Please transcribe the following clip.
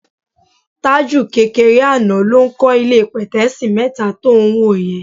Tájù kékeré àná ló ń kọ́ ilé pẹ̀tẹ́ẹ̀sì mẹ́ta tó ń wò yẹn.